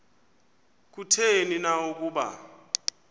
kutheni na ukuba